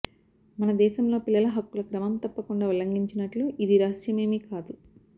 మన దేశంలో పిల్లల హక్కుల క్రమం తప్పకుండా ఉల్లంఘించినట్లు ఇది రహస్యమేమీ కాదు